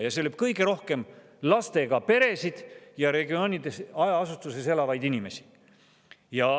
Ja see lööb kõige rohkem lastega peresid ja maaregioonides hajaasustuses elavaid inimesi.